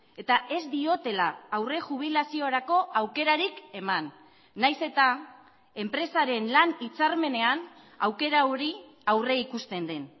eta ez diotela aurre jubilaziorako aukerarik eman nahiz eta enpresaren lan hitzarmenean aukera hori aurrikusten den